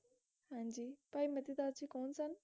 ਭਾਈ ਮਤੀ ਦਾਸ ਜੀ ਕੌਣ ਸਨ